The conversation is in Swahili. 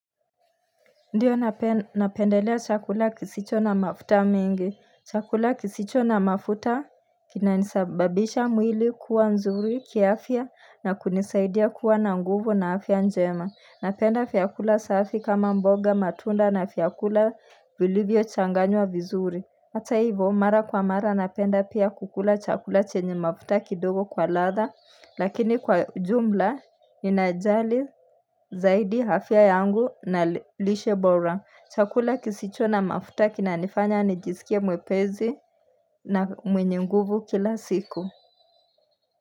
Ndiyo napendelea chakula kisicho na mafuta mengi Chakula kisicho na mafuta Kinasababisha mwili kuwa nzuri kiafya na kunisaidia kuwa na nguvu na afya njema Napenda vyakula safi kama mboga matunda na vyakula vilivyo changanywa vizuri hata hivyo mara kwa mara napenda pia kukula chakula chenye mafuta kidogo kwa ladha Lakini kwa jumla Inajali zaidi afya yangu na lishe bora chakula kisicho na mafuta kinanifanya nijisikia mwepesi na mwenye nguvu kila siku.